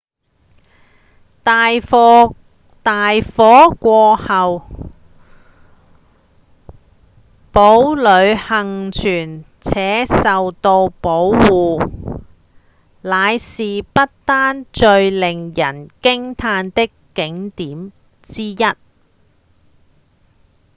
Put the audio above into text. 大火過後堡壘倖存且受到保護仍是不丹最令人驚嘆的景點之一